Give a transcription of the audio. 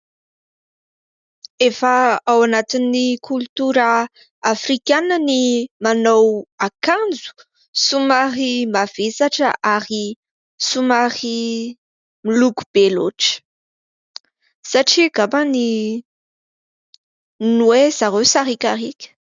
Efa ao anatin'ny koltora afrikana ny manao akanjo somary mavesatra ary somary miloko be loatra satria angamba ny hoe zareo sarikarika.